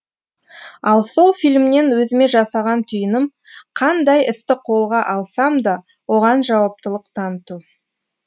ал сол фильмнен өзіме жасаған түйінім қандай істі қолға алсам да оған жауаптылық таныту